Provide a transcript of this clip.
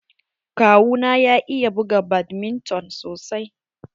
Kawu na ya iya buga badminton sosai.